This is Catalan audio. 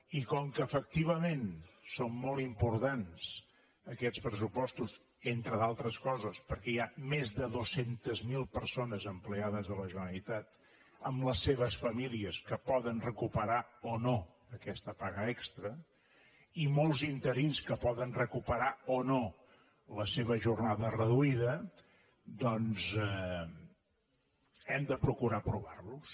i com que efectivament són molt importants aquests pressupostos entre d’altres coses perquè hi ha més de dos cents miler persones empleades de la generalitat amb les seves famílies que poden recuperar o no aquesta paga extra i molts interins que poden recuperar o no la seva jornada reduï da doncs hem de procurar aprovarlos